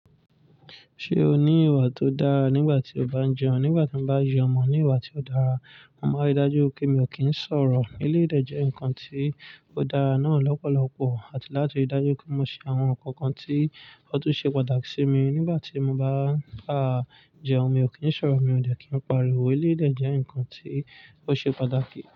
Ṣé o ní ìwà tó dára nígbà tí o bá ń jẹun? Nígbà tí mo bá jẹun mọ ní ìwà tí ó dára, mo máa dájú wipé mi ò kí ń sọ̀rọ̀. Eleyii dẹ̀ jẹ́ ǹkan tí ó dára náà lọ́pọ̀lọpọ̀ àti láti ri dájú pé mo ṣe àwọn ǹkan kan tí ó tún ṣe pàtàkì sí mi nígbà tí mo bá ń, a, jẹun. Mi ò kí ń sọ̀rọ̀, mi ò dẹ̀ kí ń pariwo. Nílé dẹ̀ jẹ́ ǹkan tí ó ṣe pàtàkì.